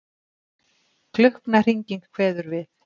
Klukknahringing kveður við.